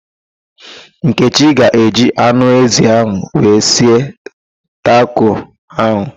Nkechi ga-eji anụ ezi wee sie tako ahụ